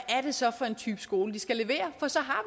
det så er for en type skole de skal levere for så har